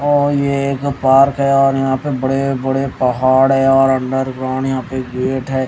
और ये एक पार्क है और यहां पे बड़े बड़े पहाड़ है और अंडर ग्राउंड यहां पे गेट है।